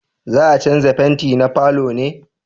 za a canja fenti na falo ne?